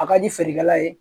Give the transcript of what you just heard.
A ka di feerekɛla ye